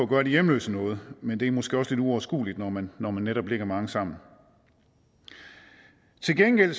gøre de hjemløse noget men det er måske også lidt uoverskueligt når man netop ligger mange sammen til gengæld